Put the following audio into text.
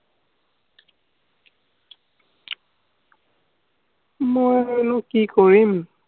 মই আৰু কি কৰিম?